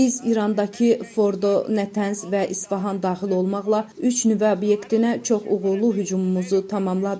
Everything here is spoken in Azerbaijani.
Biz İrandakı Fordo, Nətəns və İsfahan daxil olmaqla üç nüvə obyektinə çox uğurlu hücumumuzu tamamladıq.